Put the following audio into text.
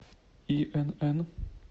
инн